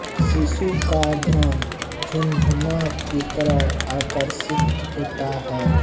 शिशु का ध्यान झुनझुना की तरफ आकर्षित होता है